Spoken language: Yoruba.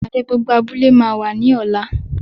Ìpàdé gbogbo abúlé máa wà ní ọ̀la.